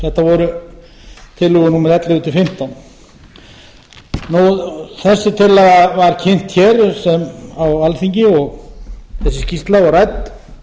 voru tillögur númer ellefu til fimmtán þessi tillaga var kynnt hér á alþingi þessi skýrsla og rædd